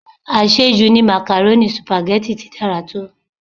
Àṣẹ jù ni màkàrónì, Sùpàgẹ́tì ti dára tó.